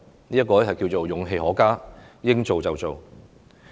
這就是勇氣可嘉，應做就做。